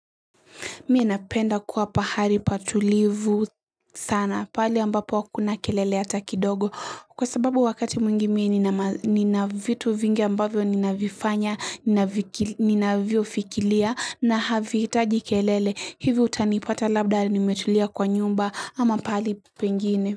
Mie napenda kuwa pahali patulivu sana pahali ambapo hakuna kelele hata kidogo kwa sababu wakati mwingi mie nina vitu vingi ambavyo nina vifanya ninavyo fikiria na havi hiitaji kelele hivi utanipata labda nimetulia kwa nyumba ama pahali pengine.